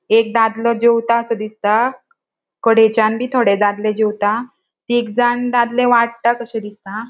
एक दादलों जेवतासों दिसता कडेच्यान बी थोड़े दादले जेवता तिगजाण दादले वाट्टा कशे दिसता.